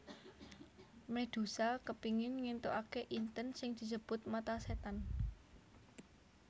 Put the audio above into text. Medusa kepingin ngentukake inten sing disebut mata setan